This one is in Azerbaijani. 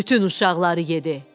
Bütün uşaqları yedi.